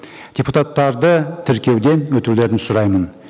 депутаттарды тіркеуден өтулерін сұраймын